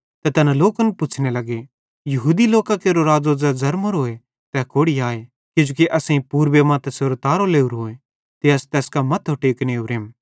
ते तैना लोकन पुच्छ़ने लग्गे यहूदी लोकां केरो राज़ो ज़ै ज़र्मोरोए तै कोड़ि आए किजोकि असेईं पूरबे मां तैसेरो तारो लोरोए ते आस तैस कां मथ्थो टेकने ओरेम